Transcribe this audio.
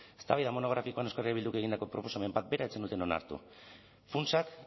eztabaida monografikoan euskal herria bilduk egindako proposamen bat bera ez zenuten onartu funtsak